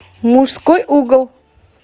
мужской угол